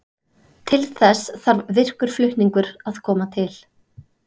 Til þess þarf virkur flutningur að koma til.